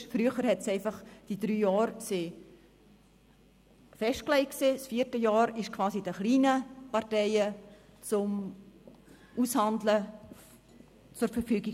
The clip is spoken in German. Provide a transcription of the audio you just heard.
Früher waren die drei Jahre festgelegt, und das vierte Jahr stand quasi den kleinen Parteien zum Aushandeln zur Verfügung.